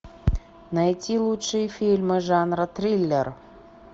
найти лучшие фильмы жанра триллер